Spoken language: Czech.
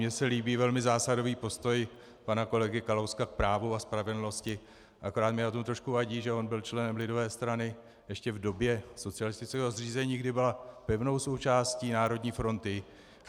Mně se líbí velmi zásadový postoj pana kolegy Kalouska k právu a spravedlnosti, akorát mi na tom trošku vadí, že on byl členem lidové strany ještě v době socialistického zřízení, kdy byla pevnou součástí Národní fronty.